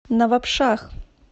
навабшах